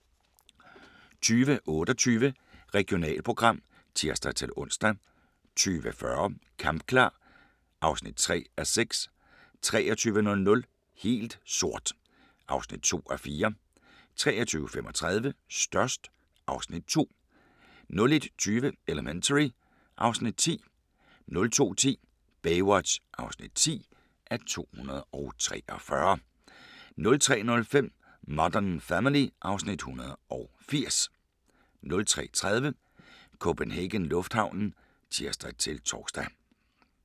20:28: Regionalprogram (tir-ons) 20:40: Kampklar (3:6) 23:00: Helt sort (2:4) 23:35: Størst (Afs. 2) 01:20: Elementary (Afs. 10) 02:10: Baywatch (10:243) 03:05: Modern Family (Afs. 180) 03:30: CPH Lufthavnen (tir-tor)